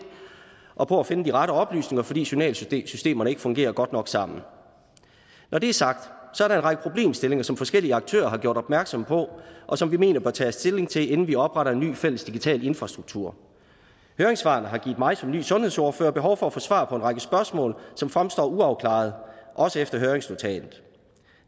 og på at finde de rette oplysninger fordi journalsystemerne ikke fungerer godt nok sammen når det er sagt er der en række problemstillinger som forskellige aktører har gjort opmærksom på og som vi mener tages stilling til inden vi opretter en ny fælles digital infrastruktur høringssvarene har givet mig som ny sundhedsordfører behov for at få svar på en række spørgsmål som fremstår uafklarede også efter høringsnotatet